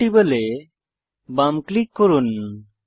compatible এ বাম click করুন